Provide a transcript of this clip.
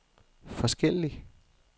forskellig